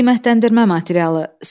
Qiymətləndirmə materialı.